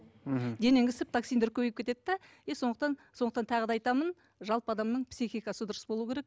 мхм денең ісіп токсиндер көбейіп кетеді де и сондықтан сондықтан тағы да айтамын жалпы адамның психикасы дұрыс болуы керек